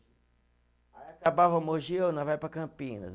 Aí acabava Mogi, ô, nós vai para Campinas.